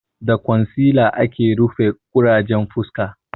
Da kwansila ake rufe ƙurajen fuska